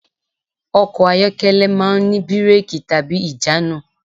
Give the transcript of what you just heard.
Ọkọ̀ ayọ́kẹ́lẹ̀ máà ń ní bírẹ́kì/ìjánu.